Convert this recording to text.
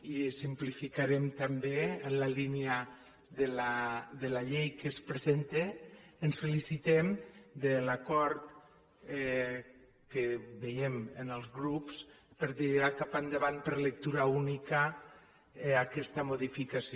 i ho simplificarem també en la línia de la llei que es presenta ens felicitem de l’acord que veiem en els grups per tirar cap endavant per lectura única aquesta modificació